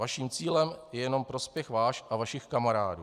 Vaším cílem je jenom prospěch váš a vašich kamarádů.